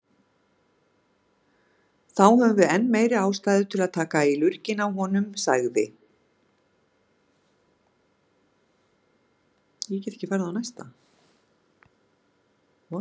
Þá höfum við enn meiri ástæðu til að taka í lurginn á honum, sagði